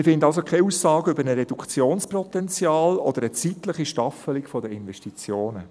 Wir finden also keine Aussagen über ein Reduktionspotenzial oder eine zeitliche Staffelung der Investitionen.